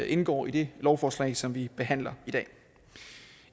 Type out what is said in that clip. indgår i det lovforslag som vi behandler i dag